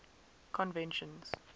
conventions